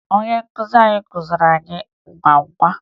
Onye nkuzi anyị kụziri anyị agwụgwa